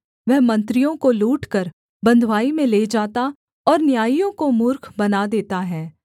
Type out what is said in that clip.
वह मंत्रियों को लूटकर बँधुआई में ले जाता और न्यायियों को मूर्ख बना देता है